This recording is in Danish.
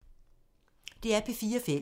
DR P4 Fælles